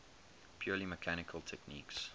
purely mechanical techniques